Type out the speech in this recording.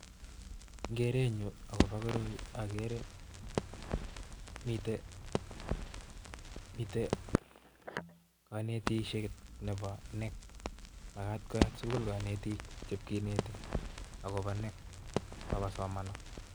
En kerenyun akobo koroi akeere mitten konetisiet Nebo knec ,makat koyaat sugul konetik ipkinetii akobo knec bakosomanso